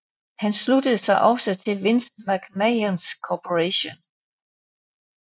Han sluttede sig også til Vince McMahons Corporation